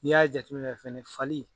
Ni y'a jate fɛnɛ fali